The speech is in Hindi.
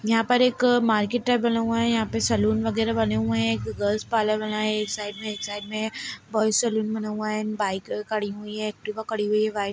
यहाँ पर एक मार्केट टाइप बना हुआ हैं यहाँ पे सलून वगेरा बने हुए हैं गर्ल्स पार्लर बना हैं एक साइड में एक साइड में बॉयस सलून हैं एंड बाइक खड़ी हुई हैं एक्टिवा खड़ी हुई हैं वाइट --